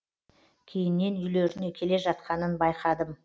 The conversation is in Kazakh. кейіннен үйлеріне келе жатқанын байқадым